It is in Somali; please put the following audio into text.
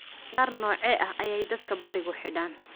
dhar noocee ah ayay dadka barigu xidhaan